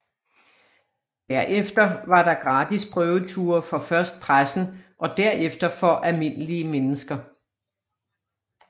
Derefter var der gratis prøveture for først pressen og derefter for almindelige mennesker